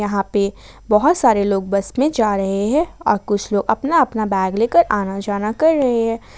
यहां पे बहुत सारे लोग बस में जा रहे हैं और कुछ लोग अपना अपना बैग लेकर आना जाना कर रहे हैं।